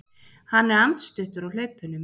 Hann er andstuttur á hlaupunum.